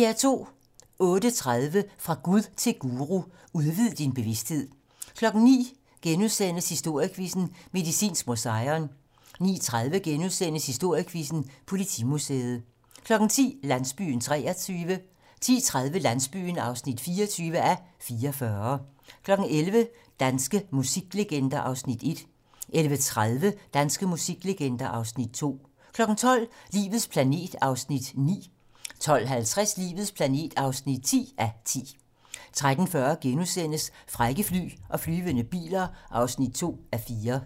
08:30: Fra Gud til guru: Udvid din bevisthed 09:00: Historiequizzen: Medicinsk Museion * 09:30: Historiequizzen: Politimuseet * 10:00: Landsbyen (23:44) 10:30: Landsbyen (24:44) 11:00: Danske musiklegender (Afs. 1) 11:30: Danske musiklegender (Afs. 2) 12:00: Livets planet (9:10) 12:50: Livets planet (10:10) 13:40: Frække fly og flyvende biler (2:4)*